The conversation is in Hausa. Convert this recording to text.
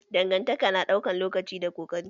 Dangantaka na ɗaukan lokaci da ƙoƙari